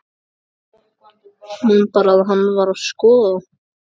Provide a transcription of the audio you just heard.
Man bara að hann var að skoða þá.